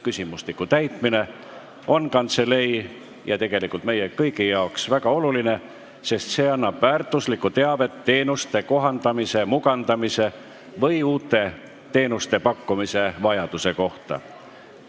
Küsimustiku täitmine on kantseleile ja tegelikult meile kõigile väga oluline, sest see annab väärtuslikku teavet teenuste kohandamise, mugandamise ja uute teenuste pakkumise vajaduse kohta.